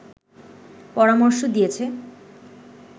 পরামর্শ দিয়েছে